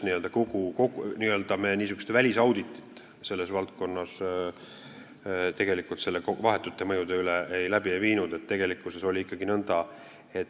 Me niisugust välisauditit selles valdkonnas vahetute mõjude kohta tegelikult ei teinud.